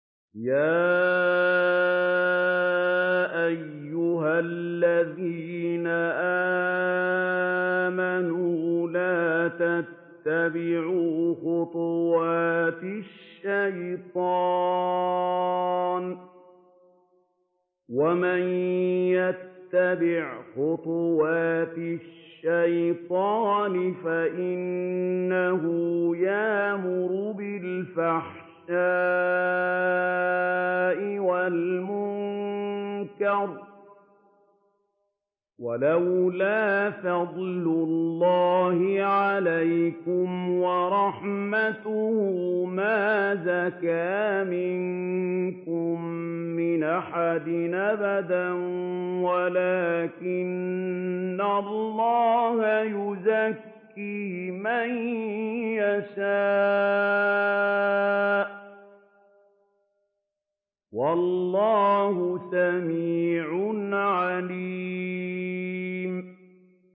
۞ يَا أَيُّهَا الَّذِينَ آمَنُوا لَا تَتَّبِعُوا خُطُوَاتِ الشَّيْطَانِ ۚ وَمَن يَتَّبِعْ خُطُوَاتِ الشَّيْطَانِ فَإِنَّهُ يَأْمُرُ بِالْفَحْشَاءِ وَالْمُنكَرِ ۚ وَلَوْلَا فَضْلُ اللَّهِ عَلَيْكُمْ وَرَحْمَتُهُ مَا زَكَىٰ مِنكُم مِّنْ أَحَدٍ أَبَدًا وَلَٰكِنَّ اللَّهَ يُزَكِّي مَن يَشَاءُ ۗ وَاللَّهُ سَمِيعٌ عَلِيمٌ